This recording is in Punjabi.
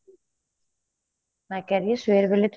ਮੈਂ ਕਹਿ ਰਹੀ ਹਾਂ ਸਵੇਰ ਵੇਲੇ